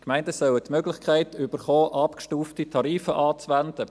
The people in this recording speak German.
Die Gemeinden sollen die Möglichkeit erhalten, abgestufte Tarife anzuwenden.